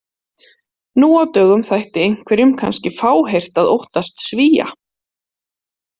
Nú á dögum þætti einhverjum kannski fáheyrt að óttast Svía.